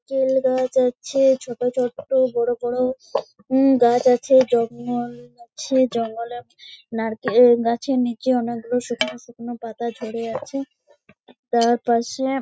কেল গাছ আছে। ছোট ছোট বড়ো বড়ো উম গাছ আছে। জঙ্গল আছে। জঙ্গলের নারকেল গাছের নিচে অনেক গুলো শুকনো শুকনো পাতা ঝরে আছে। তার পাশে।